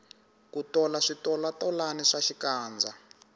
ku tola switolatolani swa xikandza